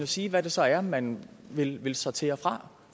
sige hvad det så er man vil vil sortere fra